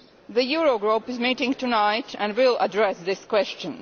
The Eurogroup is meeting tonight and will address this question.